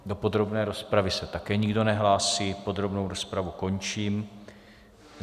Do podrobné rozpravy se také nikdo nehlásí, podrobnou rozpravu končím.